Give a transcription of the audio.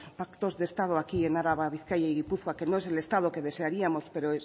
pactos de estado aquí en araba bizkaia y gipuzkoa que no es el estado que desearíamos pero